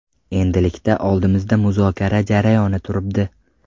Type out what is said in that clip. Endilikda oldimizda muzokara jarayoni turibdi.